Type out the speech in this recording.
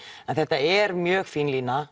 en þetta er mjög fín lína